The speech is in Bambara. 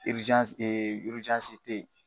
yen